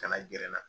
Kana gɛrɛ n na